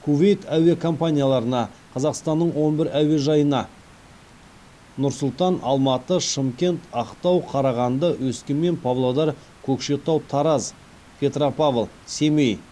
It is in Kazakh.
кувейт әуе компанияларына қазақстанның он бір әуежайына бесінші әуе еркіндігін пайдалану